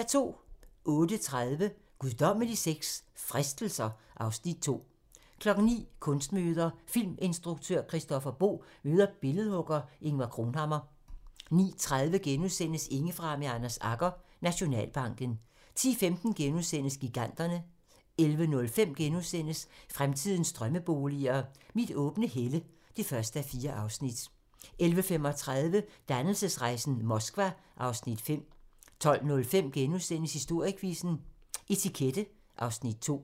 08:30: Guddommelig sex – Fristelser (Afs. 2) 09:00: Kunstnermøder: Filminstruktør Christoffer Boe møder billedhugger Ingvar Cronhammar 09:30: Indefra med Anders Agger - Nationalbanken * 10:15: Giganterne * 11:05: Fremtidens drømmeboliger: Mit åbne helle (1:4)* 11:35: Dannelsesrejsen - Moskva (Afs. 5) 12:05: Historiequizzen: Etikette (Afs. 2)*